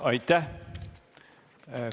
Aitäh!